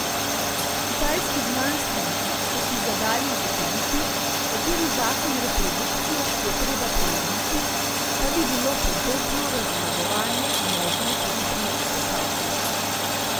Kitajski znanstveniki so si zadali ugotoviti, kateri zakon reprodukcije je treba prelomiti, da bi bilo podobno razmnoževanje možno tudi pri sesalcih.